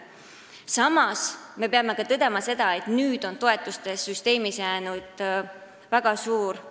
Samas, me peame tõdema, et nüüd on toetuste süsteemi jäänud väga suur ...